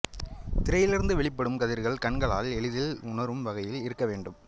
திரையிலிருந்து வெளிப்படும் கதிர்கள் கண்களால் எளிதில் உணரும் வகையில் இருக்க வேண்டும்